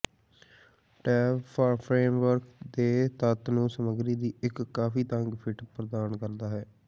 tape framework ਦੇ ਤੱਤ ਨੂੰ ਸਮੱਗਰੀ ਦੀ ਇੱਕ ਕਾਫ਼ੀ ਤੰਗ ਫਿੱਟ ਪ੍ਰਦਾਨ ਕਰਦਾ ਹੈ